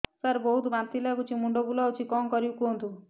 ସାର ବହୁତ ବାନ୍ତି ଲାଗୁଛି ମୁଣ୍ଡ ବୁଲୋଉଛି କଣ କରିବି କୁହନ୍ତୁ